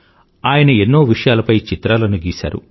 ఆయన ఎన్నో విషయలాపై చిత్రాలను గీశారు